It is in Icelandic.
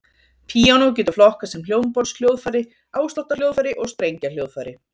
Píanó getur flokkast sem hljómborðshljóðfæri, ásláttarhljóðfæri og strengjahljóðfæri.